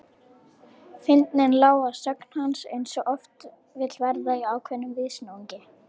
Fyndnin lá að sögn hans eins og oft vill verða í ákveðnum viðsnúningi.